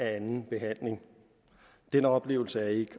anden behandling den oplevelse af ikke